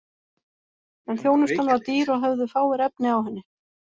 En þjónustan var dýr og höfðu fáir efni á henni.